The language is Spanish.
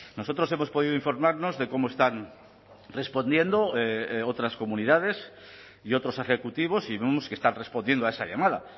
nosotros hemos podido informarnos de cómo están respondiendo otras comunidades y otros ejecutivos y vemos que están respondiendo a esa llamada